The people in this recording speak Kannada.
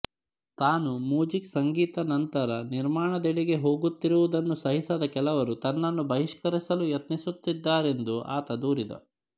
ತಾನು ಮುಜಿಕ್ ಸಂಗೀತ ನಂತರ ನಿರ್ಮಾಣದೆಡೆಗೆ ಹೋಗುತ್ತಿರುವುದನ್ನು ಸಹಿಸದ ಕೆಲವರು ತನ್ನನ್ನು ಬಹಿಷ್ಕರಿಸಲು ಯತ್ನಿಸುತ್ತಿದ್ದಾರೆಂದು ಆತ ದೂರಿದ